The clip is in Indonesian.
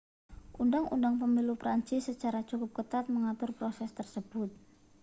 undang-undang pemilu prancis secara cukup ketat mengatur proses tersebut